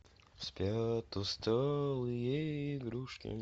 спят усталые игрушки